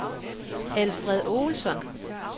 Alfred Olsson